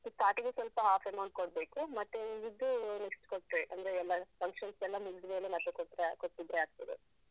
ಹ first start ಗೆ ಸ್ವಲ್ಪ half amount ಕೊಡ್ಬೇಕು. ಮತ್ತೆ ಉಳಿದಿದ್ದು next ಕೊಟ್ರೆ ಅಂದ್ರೆ ಎಲ್ಲ function ಎಲ್ಲ ಮುಗಿದ್ಮೇಲೆ ಮತ್ತೆ ಕೊಟ್ರೆ ಕೊಟ್ರೆ ಆಗ್ತದೆ.